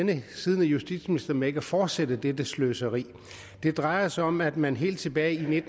den siddende justitsminister med ikke at fortsætte dette sløseri det drejer sig om at man helt tilbage i